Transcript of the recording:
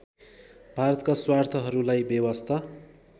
भारतका स्वार्थहरूलाई बेवास्ता